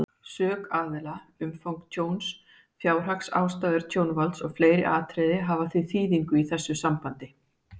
Sök aðila, umfang tjóns, fjárhagsástæður tjónvalds og fleiri atriði hafa því þýðingu í þessu sambandi.